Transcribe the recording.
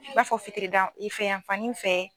I b'a fɔ fitiri da i fɛ yanfan nin fɛ